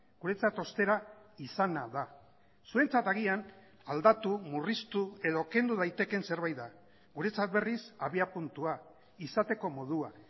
guretzat ostera izana da zuentzat agian aldatu murriztu edo kendu daitekeen zerbait da guretzat berriz abiapuntua izateko modua